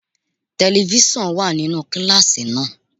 Telifíṣàn wà nínú kíláàsì náà.